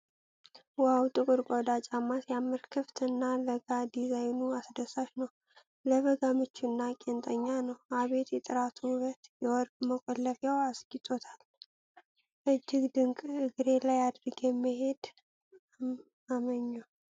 ዋው! ጥቁር ቆዳ ጫማ ሲያምር! ክፍት እና ለጋ ዲዛይኑ አስደሳች ነው። ለበጋ ምቹ እና ቄንጠኛ ነው። አቤት የጥራቱ ውበት! የወርቅ መቆለፊያው አስጌጦታል። እጅግ ድንቅ! እግሬ ላይ አድርጌ መሄድ አመኘሁ።